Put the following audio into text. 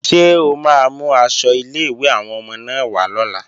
Ṣé o máa mú aṣọ ilé-ìwé àwọn ọmọ náà wá lọ́la?